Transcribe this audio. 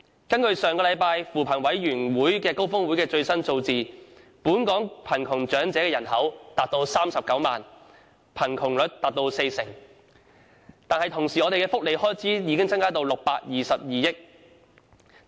根據上星期扶貧委員會高峰會公布的最新數字，本港貧窮長者人口為39萬人，貧窮率達四成。與此同時，我們的福利開支已增加至622億元。